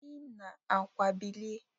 Si n'àkwà bilie